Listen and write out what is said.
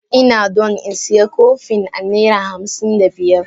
I na don in siya kopin a naira hamsin da biyar.